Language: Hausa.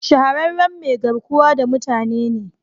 Shahararren mai garkuwa da mutane ne